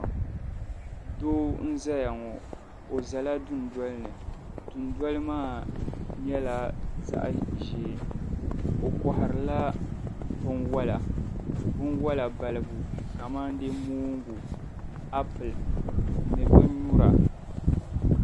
doo n-zaya ŋɔ o zala dundoli ni dundoli maa nyɛla zaɣ' ʒee o kɔhirila binwala balibu kamandee moongu apili ni binyura